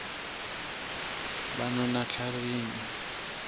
banonatlharini